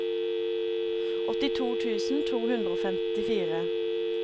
åttito tusen to hundre og femtifire